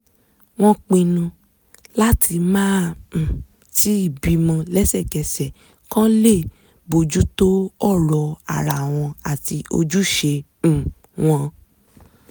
wọ́n pinnu láti máà um tíì bímọ lẹ́sẹ̀kẹsẹ̀ kọ́ lè bójú tó ọ̀rọ̀ ara wọn àti ojúśe um wọn